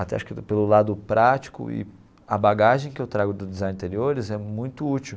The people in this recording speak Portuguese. Até acho que pelo lado prático e a bagagem que eu trago do Design de Interiores é muito útil.